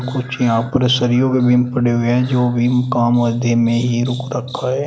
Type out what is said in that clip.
कुछ यहाँ पर सरियो मे बिम पड़े हुए है जो अभी काम आधे मे ही रोक रखा है।